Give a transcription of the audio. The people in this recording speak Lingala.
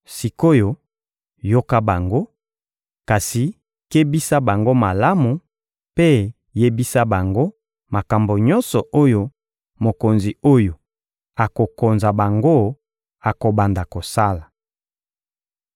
Sik’oyo, yoka bango; kasi kebisa bango malamu mpe yebisa bango makambo nyonso oyo mokonzi oyo akokonza bango akobanda kosala.»